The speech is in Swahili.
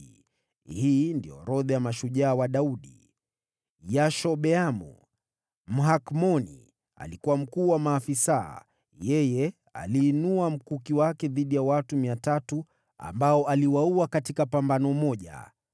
Hii ndio orodha ya mashujaa wa Daudi: Yashobeamu, Mhakmoni, alikuwa mkuu wa maafisa; yeye aliinua mkuki wake dhidi ya watu 300, ambao aliwaua katika pambano moja.